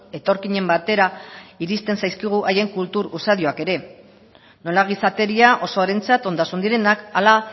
etorkinen batera iristen zaizkigu haien kultur usadioak ere nola gizateria osoarentzat ondasun direnak ala